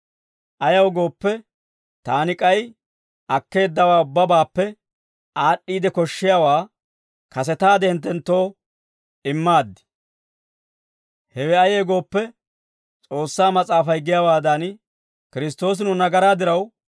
Ayaw gooppe, taani k'ay akkeeddawaa ubbabaappe aad'd'iide koshshiyaawaa kasetaade hinttenttoo immaaddi. Hewe ayee gooppe, S'oossaa mas'aafay giyaawaadan, Kiristtoosi nu nagaraa diraw